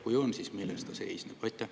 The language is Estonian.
Kui on, siis milles ta seisneb?